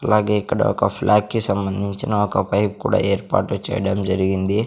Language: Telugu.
అలాగే ఇక్కడ ఒక ఫ్లాగ్ కి సంబంధిన ఒక పైప్ కూడా ఏర్పాటు చేయడం జరిగింది.